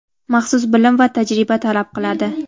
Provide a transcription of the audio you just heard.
maxsus bilim va tajriba talab qiladi.